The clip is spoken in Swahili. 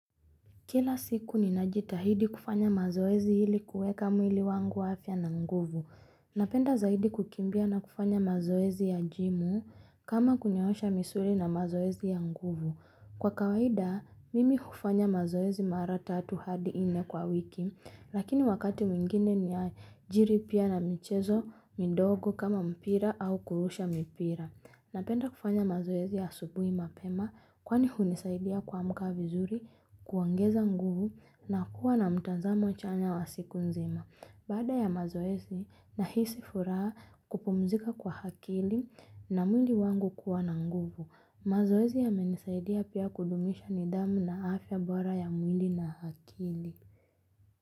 Kila siku ninajitahidi kufanya mazoezi ili kuweka mwili wangu afya na nguvu. Napenda zaidi kukimbia na kufanya mazoezi ya jimu kama kunyoosha misuli na mazoezi ya nguvu. Kwa kawaida, mimi hufanya mazoezi mara tatu hadi nne kwa wiki, lakini wakati mwingine ni ya jiri pia na michezo midogo kama mpira au kurusha mpira. Napenda kufanya mazoezi ya asubuhi mapema kwani hunisaidia kuamka vizuri kuongeza nguvu na kuwa na mtazamo chanya wa siku nzima. Baada ya mazoezi, nahisi furaha, kupumzika kwa akili na mwili wangu kuwa na nguvu. Mazoezi yamenisaidia pia kudumisha nidhamu na afya bora ya mwili na akili.